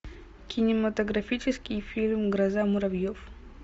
кинематографический фильм гроза муравьев